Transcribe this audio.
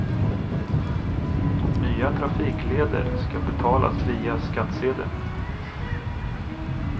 Nya trafikleder ska betalas via skattsedeln.